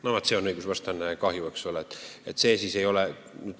Vaat see on õigusvastane tegu, eks ole.